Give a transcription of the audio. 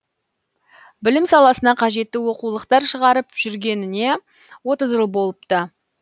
білім саласына қажетті оқулықтар шығарып жүргеніне отыз жыл болыпты